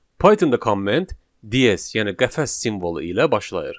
Pythonda komment DS yəni qəfəs simvolu ilə başlayır.